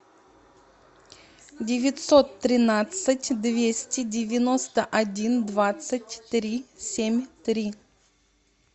девятьсот тринадцать двести девяносто один двадцать три семь три